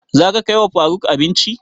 Za ka kai wa faruk abinci?